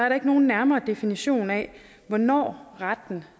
der ikke nogen nærmere definition af hvornår retten